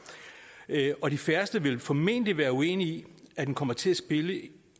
og de færreste vil formentlig være uenige i at den kommer til at spille